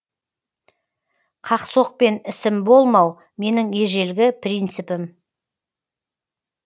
қақ соқпен ісім болмау менің ежелгі принципім